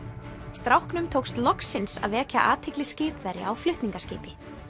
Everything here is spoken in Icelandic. stráknum tókst loksins að vekja athygli skipverja á flutningaskipi